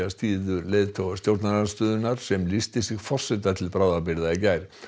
styður leiðtoga stjórnarandstöðunnar sem lýsti sig forseta til bráðabirgða í gær